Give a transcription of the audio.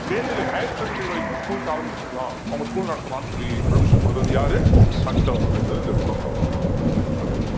மேல்நிலை higher secondary வரைக்கும் schools ஆரம்பிச்சுக்கலாம் அவங்க school நடத்தலாம்ன்னு சொல்லி permission கொடுத்தது யாரு ஹண்டர் அப்படின்றதை இந்த இடத்துல பா~ அடுத்து